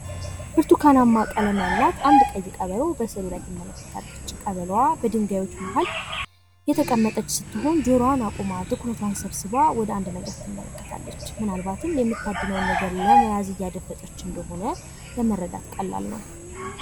ብርቱካናማ ቀለም ያላት አንዲት ቀበሮ በምስሉ ላይ ትመለከታለች። ቀበሮዋ በድንጋዮች መካከል የተቀመጠች ሲሆን፤ ጆሮዋን አቁማ ሃሳቧን ሰብስባ በትኩረት እየተመለከተች ትታያለች ። ምናልባትም የምታድነውን ነገር ለመያዝ እያደፈጠች እንደሆነ ለመረዳት ቀላል ነው።